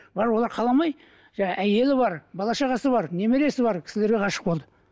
бірақ олар қаламай жаңа әйелі бар бала шағасы бар немересі бар кісілерге ғашық болды